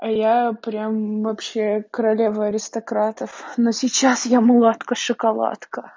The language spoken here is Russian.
я прямо вообще королева аристократов но сейчас я мулатка шоколадка